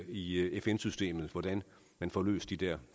i fn systemet hvordan man får løst de der